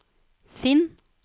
finn